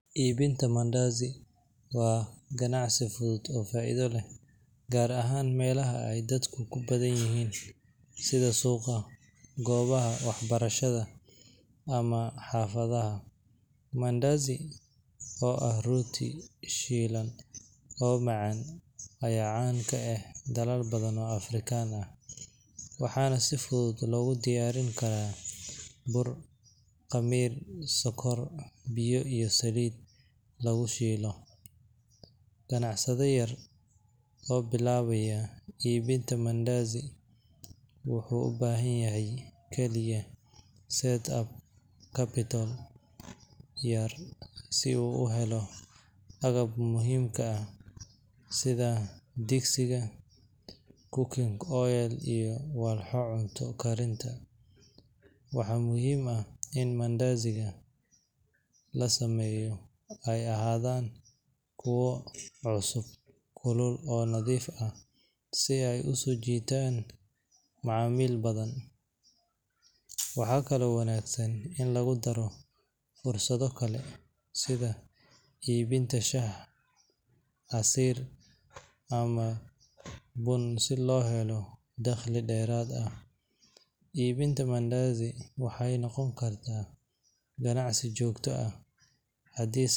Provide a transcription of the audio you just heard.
Iibinta mandazi waa ganacsi fudud oo faa’iido leh, gaar ahaan meelaha ay dadku ku badan yihiin sida suuqa, goobaha waxbarashada, ama xaafadaha. Mandazi, oo ah rooti shiilan oo macaan, ayaa caan ka ah dalal badan oo Afrikaan ah, waxaana si fudud loogu diyaarin karaa bur, khamiir, sonkor, biyo iyo saliid lagu shiilo. Ganacsade yar oo bilaabaya iibinta mandazi wuxuu u baahan yahay kaliya startup capital yar si uu u helo agabka muhiimka ah sida digsiga, cooking oil, iyo walxaha cunto karinta. Waxaa muhiim ah in mandaziga la sameeyo ay ahaadaan kuwo cusub, kulul, oo nadiif ah si ay u soo jiitaan macaamiil badan. Waxaa kaloo wanaagsan in lagu daro fursado kale sida iibinta shaah, casiir, ama bun si loo helo dakhli dheeraad ah. Iibinta mandazi waxay noqon kartaa ganacsi joogto ah haddii.